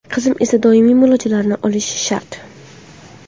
Qizim esa doimiy muolajalarni olishi shart.